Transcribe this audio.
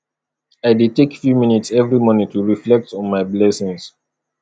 i dey take few minutes every morning to reflect on my blessings